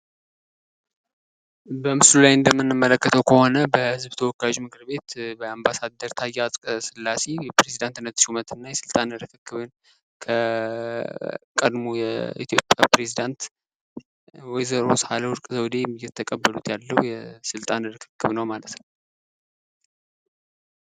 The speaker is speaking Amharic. በምሥሉ ላይ እንደምንመለከተው ከሆነ በሕዝብ ተወካዮች ምክር ቤት አምባሳደር ታዬ አጽቀስላሴ የፕሬዚዳንትነት ሹመት እና የሥልጣን ርክክቡን ቀድሞ የኢትዮጵያ ፕሬዚዳንት ወይዘሮ ሳህለወርቅ ዘውዴ የተቀበሉት ያለው የስልጣን ርክክብ ነው ማለት ነው።